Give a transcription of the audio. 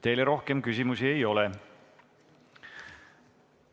Teile rohkem küsimusi ei ole.